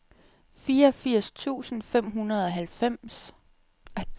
fireogfirs tusind fem hundrede og halvfjerds